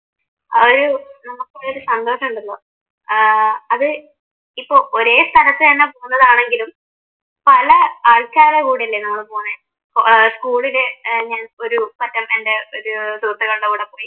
ആ ഒരു നമുക്കുള്ള ഒരു സന്തോഷമുണ്ടല്ലോ ഏർ അത് ഒരേ സ്ഥലത്തെന്നെ പോന്നതാണെങ്കിലും പല ആൾക്കാര കൂടെയല്ലേ നമ്മൾ പോന്നെ ഏർ സ്‌കൂളിലെ ഞാൻ ഒരു ഒരു സുഹൃത്തുക്കളുടെ കൂടെ പോയി